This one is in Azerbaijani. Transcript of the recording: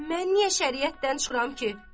Mən niyə şəriətdən çıxıram ki?